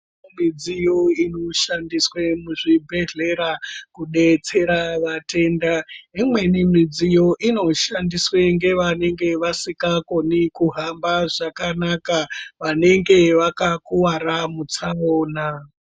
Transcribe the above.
Midziyo inoshandiswe muzvibhedhlera kudetsera vatenda imweni midziyo inoshandiswa ngevanenge vasingakoni kuhamba zvakanaka vanenge vakakuwara mutsaona.